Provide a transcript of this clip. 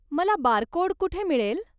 मला बारकोड कुठे मिळेल?